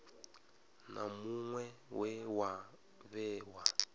na muṅwe we wa vhewa